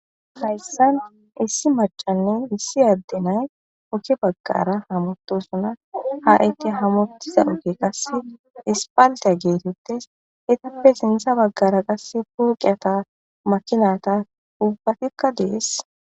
Hayssan issi macayinne issi addey ooge baggara haamutosonna ha istii haamutiza oogezikka aspaltte getetes eettappe sinththe baggara qase pooqetta maakinata uubbatikka de'es